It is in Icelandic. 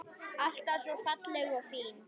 Alltaf svo falleg og fín.